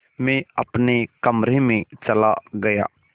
मैं अपने कमरे में चला गया